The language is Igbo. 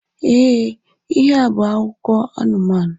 E, ihe a bú akụkọ anumanu